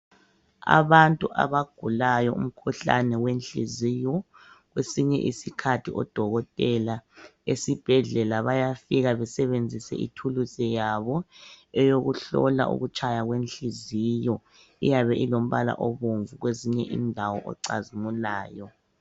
Abantu abagulayo umkhuhlane wenhliziyo kwesinye isikhathi odokotela esibhedlela bayafika besebenzise ithulusi yabo eyokuhlola ukutshaya kwenhliziyo eyabe ilombala obomvu kwezinye indawo ocazimulayo.